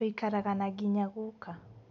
Tuikaraga na nginya guka